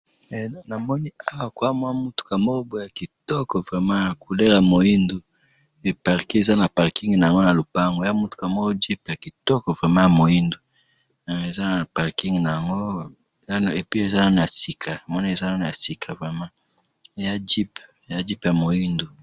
Na moni jupe ya moindo ya kitoko e parqer na kati ya lopango.